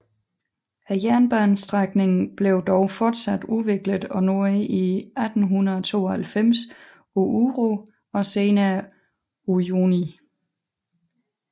Jernbanestrækningen blev dog fortsat udviklet og nåede i 1892 Oruro og senere Uyuni